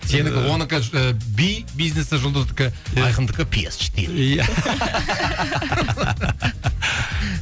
сенікі онікі і би бизнесі жұлдыздікі иә айқындікі пи ес четыре иә